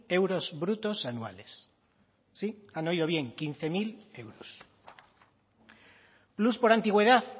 euros brutos anuales sí han oído bien quince mil euros plus por antigüedad